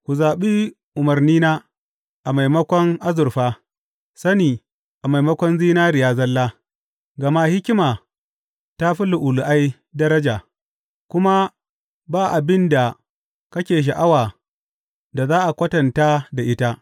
Ku zaɓi umarnina a maimakon azurfa, sani a maimakon zinariya zalla, gama hikima ta fi lu’ulu’ai daraja, kuma ba abin da kake sha’awa da za a kwatanta da ita.